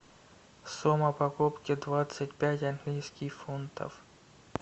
сумма покупки двадцать пять английских фунтов